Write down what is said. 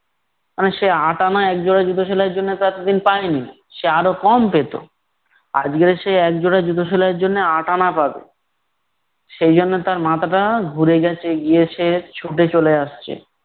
কারণ সে আটা আনা একজোড়া জুতো সেলাইয়ের জন্যে তো এতদিন পায়নি । সে আরও কম পেতো। আজকে সে একজোড়া জুতো সেলাইয়ের জন্য আট আনা পাবে। সেই জন্য তার মাথাটা ঘুরে গেছে, গিয়ে সে ছুটে চলে আসছে।